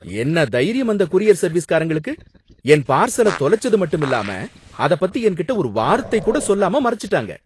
என்ன தைரியம், அந்தக் கூரியர் சர்வீஸ்காரங்களுக்கு! என் பார்சல தொலைச்சது மட்டுமில்லாம அத பத்தி என்கிட்ட ஒரு வார்த்தை கூட சொல்லாம மறச்சுட்டாங்க!